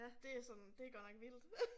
Det er sådan det godt nok vildt